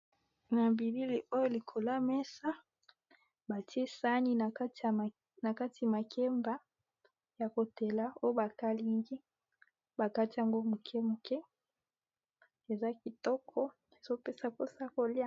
Na bilili oyo likolo yamesa batiesani na kati makeba ya kotela, oyo bakalingi bakatiango moke moke eza kitoko, ezopesa mposa kolia.